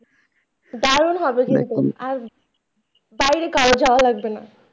দারুন হবে কিন্তু আর বাইরে কারো যাওয়া লাগবেনা।